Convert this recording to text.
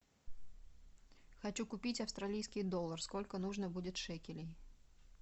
хочу купить австралийский доллар сколько нужно будет шекелей